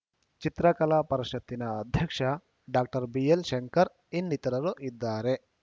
ಚಿತ್ರಕಲಾ ಪರಿಷತ್ತಿನ ಅಧ್ಯಕ್ಷ ಡಾಕ್ಟರ್ ಬಿಎಲ್‌ಶಂಕರ್ ಇನ್ನಿತರರು ಇದ್ದಾರೆ